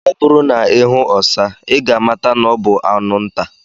Ọ bụrụ na ihu ọsa, I ga amata na ọ bu anụ nta.